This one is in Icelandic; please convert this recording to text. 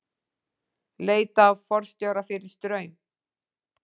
Leita að forstjóra fyrir Straum